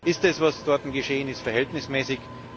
Ist das, was dort geschehen ist, verhältnismäßig?